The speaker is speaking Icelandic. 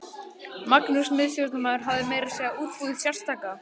Magnús miðstjórnarmaður hafði meira að segja útbúið sérstaka